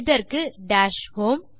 இதற்கு dash home